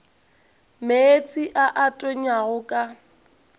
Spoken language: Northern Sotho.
meetse a a tonyago ka